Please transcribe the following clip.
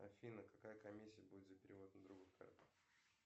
афина какая комиссия будет за перевод на другую карту